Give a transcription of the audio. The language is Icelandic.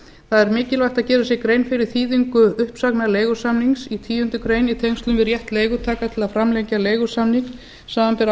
það er mikilvægt að gera sér grein fyrir þýðingu uppsagna leigusamnings í tíundu greinar í tengslum við rétt leigutaka til að framlengja leigusamning samanber